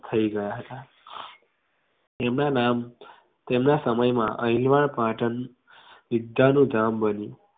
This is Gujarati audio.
થઇ ગયા એમના નામ એમના સમય મા અહીલવાડ પાટણ વિદ્યાનું ધામ બન્યુ